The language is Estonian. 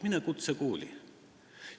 Mine kutsekooli!